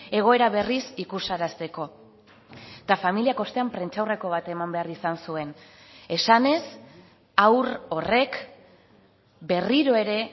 egoera berriz ikusarazteko eta familiak ostean prentsaurreko bat eman behar izan zuen esanez haur horrek berriro ere